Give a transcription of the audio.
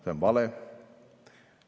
See on vale.